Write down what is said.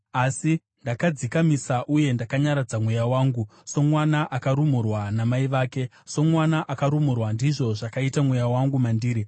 Asi ndakadzikamisa uye ndakanyaradza mweya wangu; somwana akarumurwa namai vake, somwana akarumurwa, ndizvo zvakaita mweya wangu mandiri.